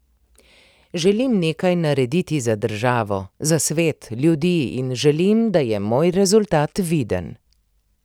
Želim nekaj narediti za državo, za svet, ljudi in želim, da je moj rezultat viden.